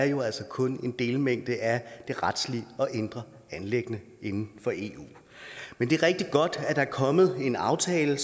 jo altså kun er en delmængde af de retslige og indre anliggender inden for eu men det er rigtig godt at der er kommet en aftale